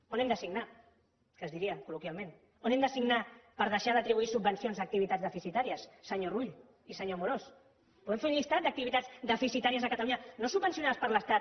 on hem de signar que es diria col·loquialment on hem de signar per deixar d’atribuir subvencions a activitats deficitàries senyor rull i senyor amorós podem fer un llistat d’activitats deficitàries a catalunya no subvencionades per l’estat